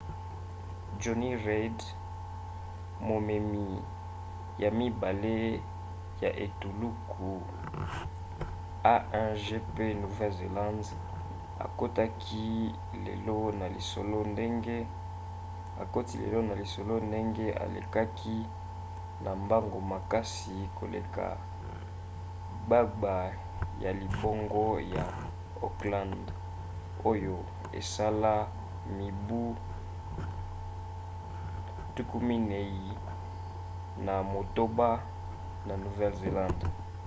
jonny reid momemi ya mibale ya etuluku a1gp nouvelle-zélande akoti lelo na lisolo ndenge alekaki na mbango makasi koleka gbagba ya libongo ya auckland oyo esala mibu 48 na nouvelle-zélande